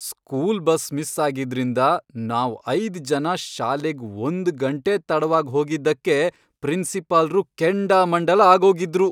School bus miss ಆಗಿದ್ರಿಂದ ನಾವ್ ಐದ್ ಜನ ಶಾಲೆಗ್ ಒಂದ್ಗಂಟೆ ತಡವಾಗ್ ಹೋಗಿದ್ದಕ್ಕೆ ಪ್ರಿನ್ಸಿಪಾಲ್ರು ಕೆಂಡಾಮಂಡಲ ಆಗೋಗಿದ್ರು.